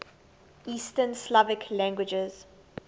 east slavic languages